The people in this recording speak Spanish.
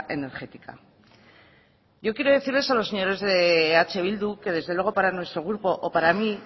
energética yo quiero decirles a los señores de eh bildu que desde luego para nuestro grupo o para mí